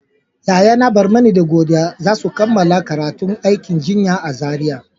Yayana Barmani da Godiya za su kammala karatun aikin jinya a Zaria.